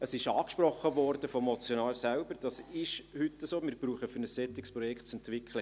Der Motionär selbst hat angesprochen, dass wir heute keine neue Rechtsgrundlage benötigen, um ein solches Projekt zu entwickeln.